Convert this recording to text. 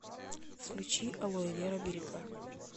включи алоэвера берега